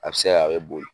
A bɛ se ka a bɛ boli